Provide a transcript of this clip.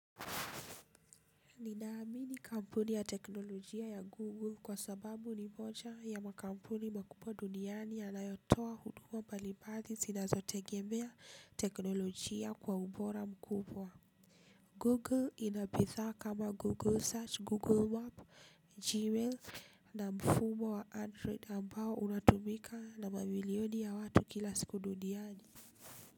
Ninaamini kampuni ya teknolojia ya Google kwa sababu ni moja ya makampuni makubwa duniani ya nayotowa huduma mbalimbali zinazotengemea teknolojia kwa umbora mkubwa. Google inabidhaa kama Google Search, Google Map, Gmail na mfumo wa Android ambao unatumika na mamilioni ya watu kila siku duniani.